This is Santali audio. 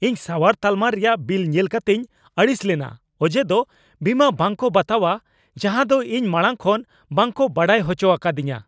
ᱤᱧ ᱥᱟᱶᱟᱨ ᱛᱟᱞᱟᱢ ᱨᱮᱭᱟᱜ ᱵᱤᱞ ᱧᱮᱞ ᱠᱟᱛᱮᱧ ᱟᱹᱲᱤᱥ ᱞᱮᱱᱟ ᱚᱡᱮ ᱫᱚ ᱵᱤᱢᱟ ᱵᱟᱝ ᱠᱚ ᱵᱟᱛᱟᱣᱟ ᱡᱟᱦᱟᱸ ᱫᱚ ᱤᱧ ᱢᱟᱲᱟᱝ ᱠᱷᱚᱱ ᱵᱟᱝ ᱠᱚ ᱰᱟᱰᱟᱭ ᱦᱚᱪᱚ ᱟᱠᱟᱫᱤᱧᱟᱹ ᱾